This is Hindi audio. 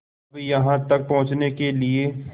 अब यहाँ तक पहुँचने के लिए